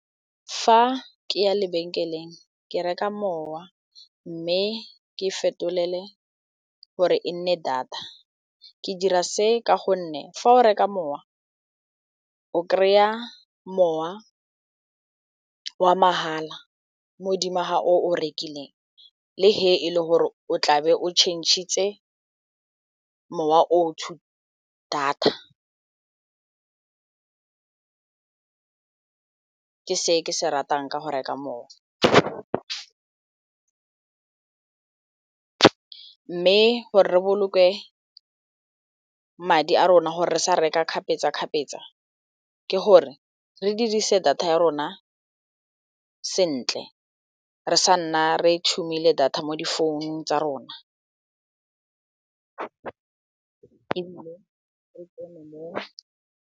Fa ke ya lebenkeleng ke reka mowa mme ke fetolele gore e nne data ke dira se ka gonne fa o reka mowa o kry-a mowa wa mahala mo go dimo ga o rekileng le ge e le gore o tlabe o change-tse mowa o to data ke se ke se ratang ka go reka mowa mme gore re boloke madi a rona gore re sa reka kgapetsakgapetsa ke gore re dirise data ya rona sentle re sa nna re data mo difounung tsa rona.